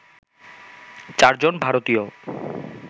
চারজন ভারতীয়